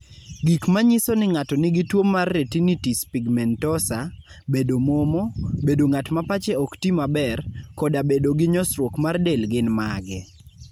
Gik manyiso ni ng'ato nigi tuwo mar Retinitis pigmentosa, bedo momo, bedo ng'at ma pache ok ti maber, koda bedo gi nyosruok mar del gin mage?